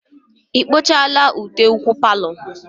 Ị kpuchala ute ụkwụ palọ?